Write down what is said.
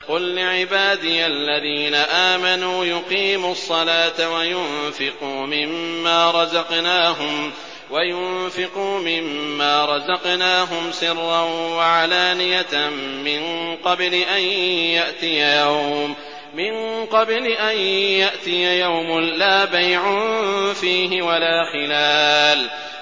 قُل لِّعِبَادِيَ الَّذِينَ آمَنُوا يُقِيمُوا الصَّلَاةَ وَيُنفِقُوا مِمَّا رَزَقْنَاهُمْ سِرًّا وَعَلَانِيَةً مِّن قَبْلِ أَن يَأْتِيَ يَوْمٌ لَّا بَيْعٌ فِيهِ وَلَا خِلَالٌ